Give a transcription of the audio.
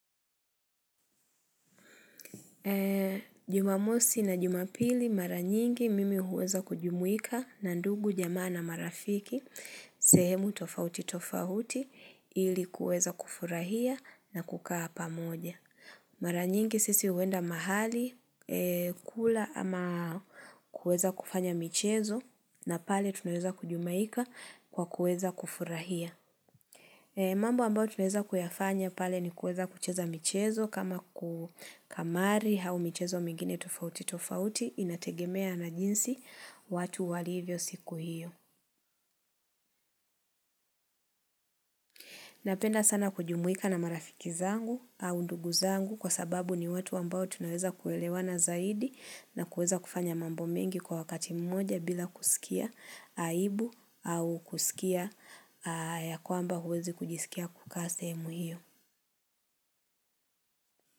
Jumamosi na jumapili maranyingi mimi huweza kujumuika na ndugu jamaa na marafiki. Sehemu tofauti tofauti ili kuweza kufurahia na kukaa pamoja. Maranyingi sisi huenda mahali kula ama kuweza kufanya michezo. Na pale tunaeza kujumuika kwa kuweza kufurahia. Mambo ambayo tunaweza kuyafanya pale ni kueza kucheza michezo kama ku kamari hau michezo mingine tofauti tofauti inategemea na jinsi watu walivyo siku hiyo. Napenda sana kujumuika na marafiki zangu au ndugu zangu kwa sababu ni watu ambao tunaweza kuelewana zaidi na kueza kufanya mambo mengi kwa wakati mmoja bila kusikia aibu au kusikia ya kwamba huwezi kujisikia kuka sehemu hiyo.